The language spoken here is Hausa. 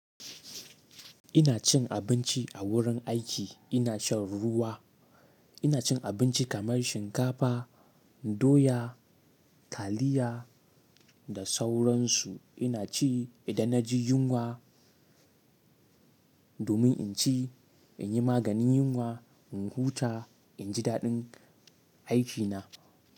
Ina cin abinci a wurin aiki, ina shan ruwa. Ina cin abinci kamar shinkafa, doya, taliya da sauransu. Ina ci idan na ji yunwa domin in ci, in yi maganin yunwa, in huta, in ji daɗin aikina.